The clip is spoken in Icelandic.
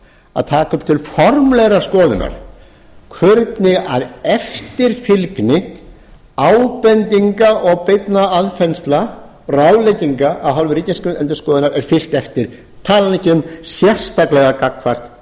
að taka upp til formlegrar skoðunar hvernig eftirfylgni ábendinga og beinna aðfinnslna ráðlegginga af hálfu ríkisendurskoðun er fylgt eftir ég tala nú ekki um sérstaklega gagnvart